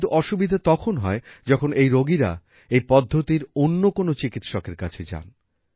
কিন্তু অসুবিধা তখন হয় যখন এই রোগীরা এই পদ্ধতির অন্য কোনো চিকিৎসক এর কাছে যান